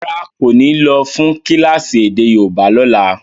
Rárá, kò ní lọ́ fún kílásì èdè yóòbá ni ọ̀la.